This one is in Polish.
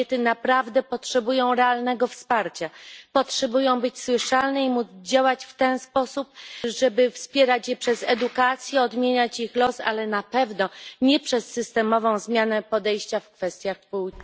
Kobiety naprawdę potrzebują realnego wsparcia, potrzebują być słyszane i móc działać w ten sposób, żeby wspierać je przez edukację, odmieniać ich los, ale na pewno nie przez systemową zmianę podejścia w kwestiach płci.